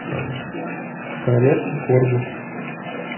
королевский корги